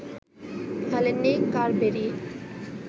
খেলেননি কারবেরি